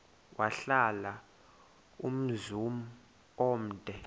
wahlala umzum omde